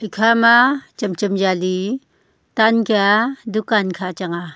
kha ma cham cham yali tan kya dukan kha chang ah.